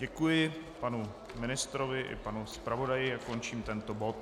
Děkuji panu ministrovi i panu zpravodaji a končím tento bod.